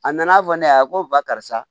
A nana fɔ ne ye a ko ba karisa